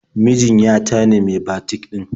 Mijin ya ta ne mai batik ɗin.